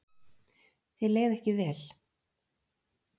Þér leið ekki vel.